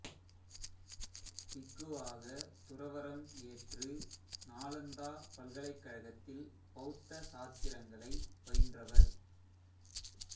பிக்குவாக துறவறம் ஏற்று நாலந்தா பல்கலைக்கழகத்தில் பௌத்த சாத்திரங்களை பயின்றவர்